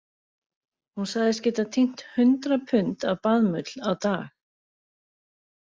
Hún sagðist geta tínt hundrað pund af baðmull á dag